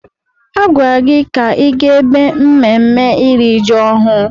A gwara gị ka ị gaa ebe mmemme iri ji ọhụrụ!